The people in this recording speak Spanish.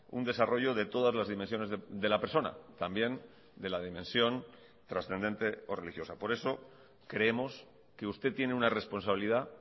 un desarrollo de todas las dimensiones de la persona también de la dimensión trascendente o religiosa por eso creemos que usted tiene una responsabilidad